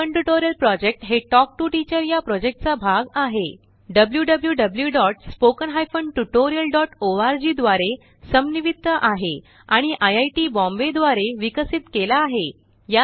spoken tutorial project हा talk TO teacher प्रोजेक्टचा भाग आहे जोwwwspoken tutorialorgद्वारा समन्वित आहे आणिआई आई टिबॉम्बे द्वारा विकसित केला आहे